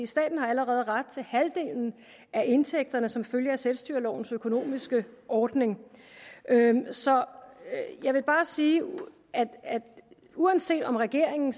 staten har allerede ret til halvdelen af indtægterne som følge af selvstyrelovens økonomiske ordning så jeg vil bare sige at uanset om regeringen